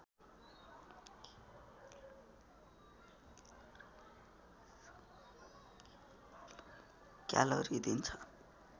calorie दिन्छ